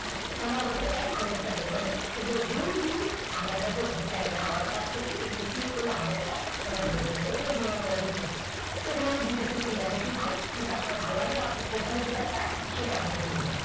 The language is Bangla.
তাহলে আমাদের এক ঘন্টার টা বের হবে এবারে গুণ দিয়ে আমরা যত ঘন্টা এখানে আবার কাজ করছি এখানে click করলে আমাদের এটা result বেরোবে এটা বেরিয়ে যাবে এইভাবে আপনারা apply করতে পারেন এখানে আমি দুইটো system দেখাইছি ভাই আপনার যেটা ভালো লাগে বা আপনার company যেটা চায় সেটা আপনি দিয়ে নিবেন